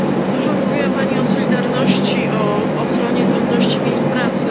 Dużo mówiła Pani o solidarności, o ochronie godności miejsc pracy.